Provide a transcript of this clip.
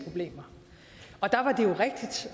jo